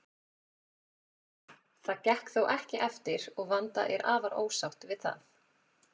Það gekk þó ekki eftir og Vanda er afar ósátt við það.